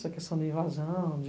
Essa questão da invasão, de...